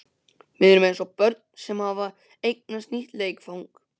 Við erum eins og börn sem hafa eignast nýtt leikfang.